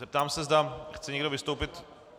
Zeptám se, zda chce někdo vystoupit.